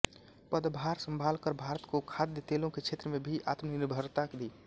पदभार संभालकर भारत को खाद्य तेलों के क्षेत्र में भी आत्मनिर्भरता दी